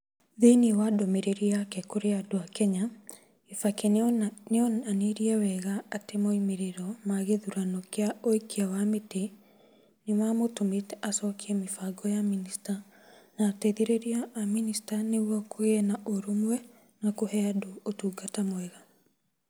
Thĩinĩ wa ndũmĩrĩri yake kũrĩ andũ a Kenya, Kibaki nĩ onanirie wega atĩ moimĩrĩro ma gĩthurano kĩa ũikia wa mĩtĩ nĩ mamũtũmĩte acokie mĩbango ya minista na ateithĩrĩria a minista nĩguo kũgĩe na ũrũmwe na kũhe andũ ũtungata mwega.